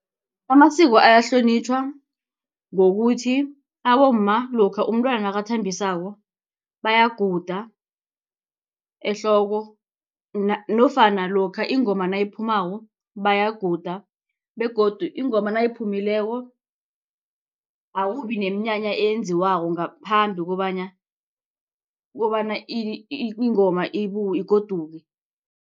Amasiko ayahlonitjhwa ngokuthi abomma lokha umntwana nakathambisako bayaguda ehloko nofana lokha ingoma nayiphumako bayaguda begodu ingoma nayiphumileko akubi neemnyanya eyenziwako ngaphambi kobana kobana ingoma igoduke.